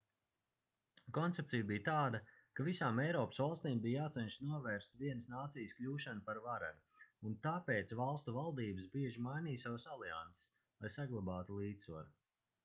koncepcija bija tāda ka visām eiropas valstīm bija jācenšas novērst vienas nācijas kļūšanu par varenu un tāpēc valstu valdības bieži mainīja savas alianses lai saglabātu līdzsvaru